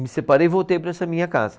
Me separei e voltei para essa minha casa.